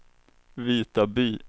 Vitaby